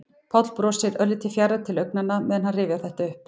Páll brosir, örlítið fjarrænn til augnanna meðan hann rifjar þetta upp.